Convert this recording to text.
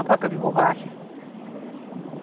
A fábrica de borracha.